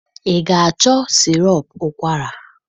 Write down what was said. Ị ga-achọ sịrọp ụkwara?